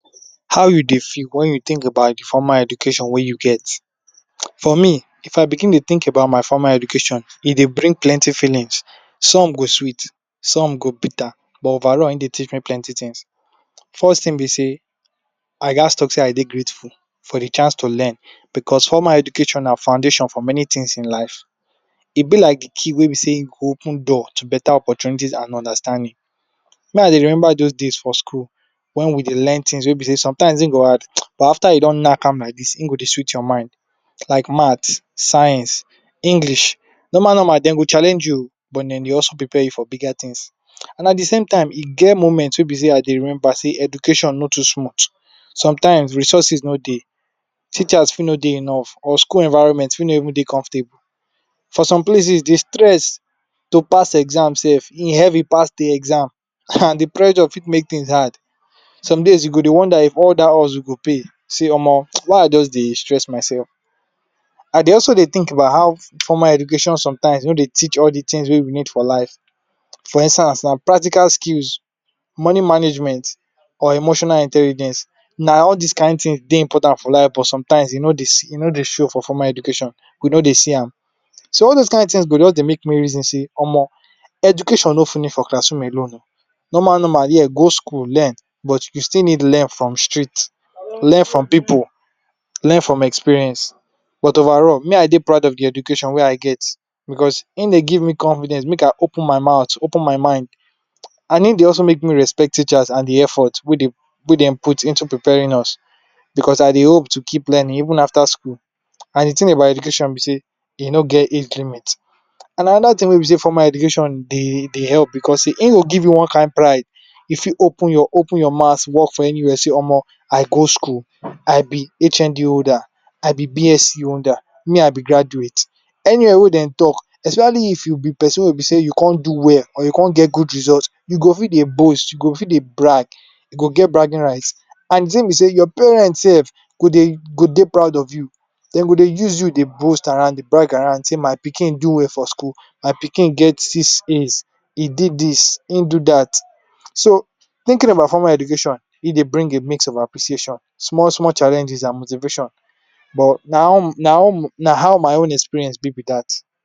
How u dey feel wen u think about de formal education wey u get, for me if I begin to dey think about my formal education, e dey bring plenty feelings, some go sweet, some go bitter, but overall e dey teach me plenty things, first thing b dey I gatz talk sey I dey grateful for de chance to learn because formal education na foundation for many things in life, e be like de key wey be sey e go open door to better opportunities and understanding, ne I remember those days for school, wen we dey learn things wey b sey sometimes e dey hard, but after you don knack am like dis, hin go dey sweet your mind, like maths, science, English, normal normal dem go challenge you oh but dem dey also prepare you for bigger things, and at de same time e get moments wey be sey I dey remember sey education no too smooth, sometimes resources no dey, teachers fi no dey enough or school environment fi no even dey comfortable, for some place dey stressed to pass exam sef e heavy pass de exam, de pressure fit make things hard, some days you go dey wonder if all dat hustle go pay, see Omo why I just dey stress myself, I dey also dey think about how formal education sometimes no dey teach all de things wey we need for life, for instance like practical skills, money management or emotional intelligence, na all dis kind things dey important for life but sometimes e no dey see e no dey show for formal education we no dey see am, so all those kin things go jus dey make me reason sey Omo, education no finish for classroom alone oh, normal normal yea, go school learn but u still need learn from street, learn from pipu learn from experience, but overall me I dey proud of de education wey I get, because hin dey give me confidence make I open my mouth open my mind, and hin dey also make me respect teachers and de efforts wey dem put into preparing us because I dey hope to keep learning even after school, and de thing about education be sey, e no get age limit and another thing wey b sey formal education dey help because dey hin go give you one kin pride, u fit open your maths work for anywhere sey Omo I go school, I be HND holder, I be BSc holder, me I be graduate, anywhere wey dem talk especially if u be persin wey b dey you con do well or you con get good result, you go fit dey boast, you go fit dey brag, you go get bragging rights and de thing be sey your parents sef go dey proud of you dem go dey use you dey boast around de brag around dey my pikin do well for school, my pikin get six A’s he did dis hin do dat. So thinking about formal education e dey bring de mix of appreciation small small challenges and motivation but na um na um na how my own experience be, be dat.